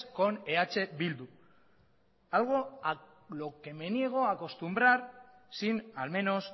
con eh bildu algo a lo que me niego a acostumbrar sin al menos